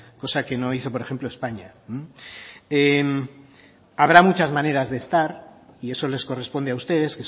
cosa que no hizo por ejemplo españa habrá muchas maneras de estar y eso les corresponde a ustedes